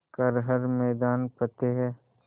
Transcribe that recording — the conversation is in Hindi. कर हर मैदान फ़तेह